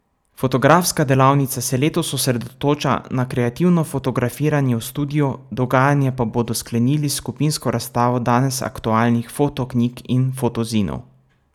Fotografska delavnica se letos osredotoča na kreativno fotografiranje v studiu, dogajanje pa bodo sklenili s skupinsko razstavo danes aktualnih fotoknjig in fotozinov.